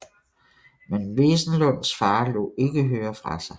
Men Wesenlunds far lod ikke høre fra sig